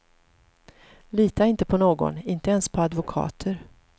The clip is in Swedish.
Lita inte på någon, inte ens på advokater.